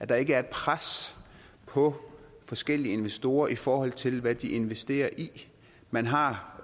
der ikke er et pres på forskellige investorer i forhold til hvad de investerer i man har